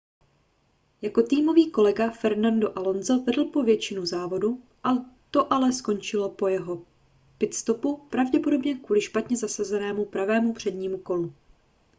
jeho týmový kolega fernando alonso vedl po většinu závodu to ale skončilo po jeho pit-stopu pravděpodobně kvůli špatně zasazenému pravému přednímu kolu